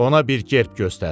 Ona bir gerb göstər.